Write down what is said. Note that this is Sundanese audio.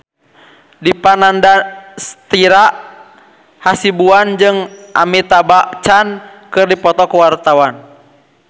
Dipa Nandastyra Hasibuan jeung Amitabh Bachchan keur dipoto ku wartawan